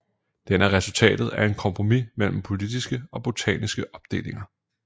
Den er resultatet af et kompromis mellem politiske og botaniske opdelinger